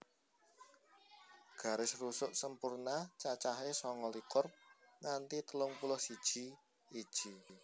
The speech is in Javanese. Garis rusuk sempurna cacahé sanga likur nganti telung puluh siji iji